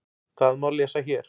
Það má lesa hér.